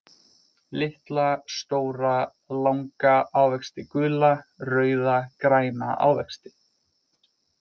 Litla, stóra, langa ávexti Gula, rauða, græna ávexti.